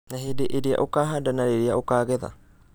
Na hindĩ irĩa ũkuhanda na rũrĩa ukagetha